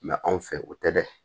anw fɛ o tɛ dɛ